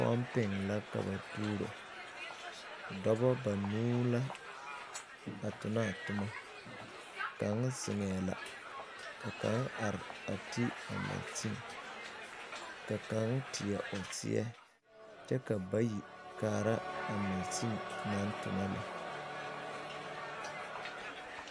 Pɔmpeŋ la ka ba tuuro dɔbɔ banuu la a tonnɔ a tommo kaŋ zeŋɛɛ la ka kaŋ are te a mansen ka kaŋ teɛ o seɛ kyɛ ka bayi kaara a mansen naŋ tonnɔ lɛ.